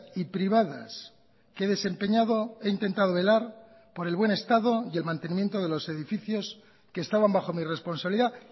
y privadas que he desempeñado he intentado velar por el buen estado y el mantenimiento de los edificios que estaban bajo mi responsabilidad